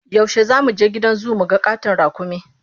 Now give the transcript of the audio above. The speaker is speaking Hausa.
Yaushe za mu je gidan zu mu ga ƙaton raƙumi?